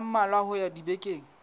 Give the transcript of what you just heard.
a mmalwa ho ya dibekeng